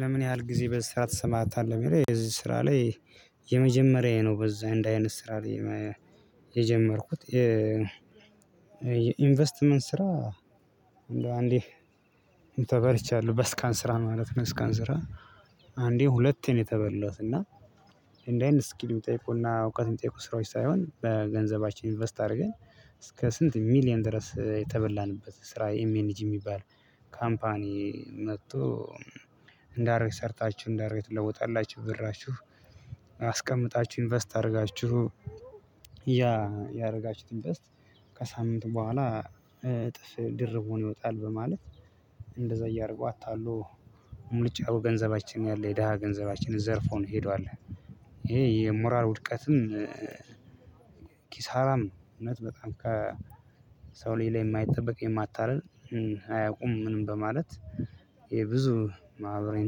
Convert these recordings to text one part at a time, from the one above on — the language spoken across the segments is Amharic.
ለምን? ያህል ጊዜ በዚህ ስራ ተሰማርታሀል ለሚለው በዚህ ስራ ላይ። የመጀመሪያዬ ነው በዚህ እንዲህ አይነት ስራ የጀመርኩት። ኢንቨስትመንት ስራ። እንደው አንዴ ተበልቻለሁ በስካን ስራ ማለት ነው። ስካን ስራ አንዴ ሁለቴ ነው የተበላሁት እና። እንዲህ አይነት ስኪል የሚጠይቁና እውቀት የሚጠይቁ ስራዎች ሳይሆን በገንዘባችን ኢንቨስት አድርገን። እስከ ስንት ሚሊየን ድረስ የተበላንበት ስራ ኤም ኤንጂ የሚባል ካምፓኒ መጥቶ። እንዲህ አድርጋቹ ሰርታችሁ እንዲህ አድርጋቹ ትለውጣላችሁ ብራቹህ አስቀምጣችሁ ኢንቨስት አድርጋችሁ። ያደረጋችሁትን ኢንቨስት ከሳምንት በኋላ እጥፍ ድርብ ሆኖ ይወጣል በማለት። እንደዛ እያደረጉ አታሎ ሙልጭ አድርጎ ገንዘባችን ያለ የደሃ ገንዘባችን ዘርፎን ሄዷል። ይሄ የሞራል ውድቀትም ኪሳራም ነው። እውነት በጣም ከሰው ላይ የማይጠበቅ የማታደርግ አያውቁም ምንም በማለት የብዙ ማህበራዊ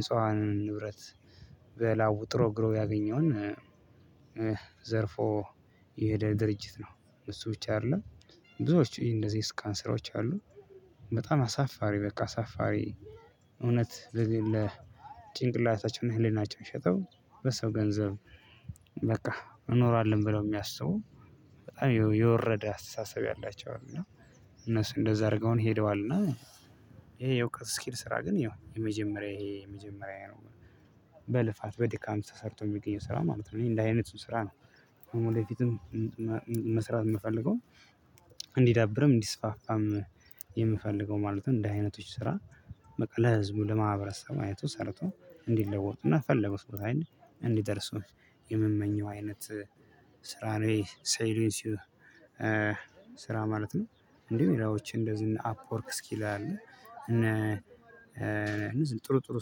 ንፁሀንን ንብረት። በላቡ ጥሮ ግሮ ያገኘውን ዘርፎ የሄደ ድርጅት ነው። እሱ ብቻ አይደለም። ብዙዎች እንደዚህ የስካም ስራወች አሉ። በጣም አሳፋሪ በቃ አሳፋሪ። እውነት ጭንቅላታቸውና ህሊናቸውን ሸጠው በሰው ገንዘብ። በቃ እኖራለን ብለው የሚያስቡ በጣም የወረደ አስተሳሰብ ያላቸው እና እነሱ እንደዛ አድርገውን ሄደዋል። እና ይሄ የእውቀት ስኪል ስራ ግን ያው የመጀመሪያ ይሄ የመጀመሪያ ነው። በልፋት በድካም ተሰርቶ የሚገኘው ስራ ነው ማለት ነው። እኔ እንደዚ አይነቱ ስራ ነው። ወደፊቱም መስራት የምፈልገውም እንዲዳብርም እንዲስፋፋም የምፈልገው ማለት እንደዚህ አይነቶች ስራ። በቃ ለህዝቡ ለማህበረሰቡ አይቶ ሰርቶ እንዲለወጡና የፈለጉት ቦታ ላይ እንዲደርሱ የምመኘው አይነት ስራ ነው። ሳይለንስዬ ስራ ማለት ነው። እንዲሁ ሌላዎች እንደዚህ እነ አፕወርክ እስኪል አለ። ጥሩ ጥሩ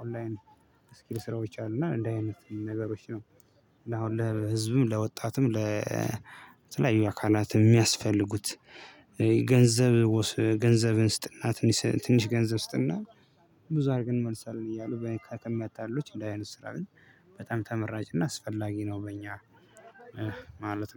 ኦንላይን ስኪል ስራዎች አሉና እንደዚህ አይነት ነገሮች ነው። እና አሁን ለህዝብም ለወጣትም ለተለያዩ አካላት የሚያስፈልጉት ገንዘብ ገንዘብን ስጥና ትንሽ ትንሽ ገንዘብ ስጥና ብዙ አድርገን እንመልሳለን። እያሉ በሀካል ከሚያታልሉት እንደዚህ አይነት ስራ ግን በጣም ተመራጭና እና አስፈላጊ ነው። በእኛ ማለት